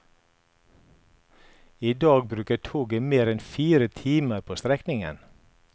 I dag bruker toget mer enn fire timer på strekningen.